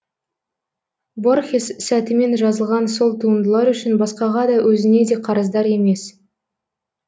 борхес сәтімен жазылған сол туындылар үшін басқаға да өзіне де қарыздар емес